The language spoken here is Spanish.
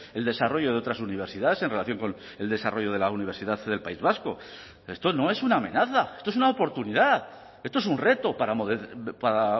el desarrollo de otras universidades en relación con el desarrollo de la universidad del país vasco esto no es una amenaza esto es una oportunidad esto es un reto para